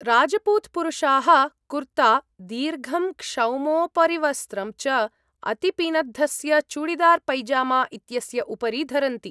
राज्पूत् पुरुषाः कुर्ता, दीर्घं क्षौमोपरिवस्त्रं च अतिपिनद्धस्य चूडीदार् पैजामा इत्यस्य उपरि धरन्ति।